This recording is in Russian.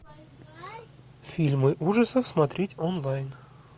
фильмы ужасов смотреть онлайн